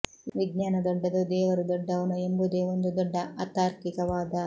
ವಿಜ್ಞಾನ ದೊಡ್ಡದೋ ದೇವರು ದೊಡ್ಡವನೋ ಎಂಬುದೇ ಒಂದು ದೊಡ್ಡ ಅತಾರ್ಕಿಕ ವಾದ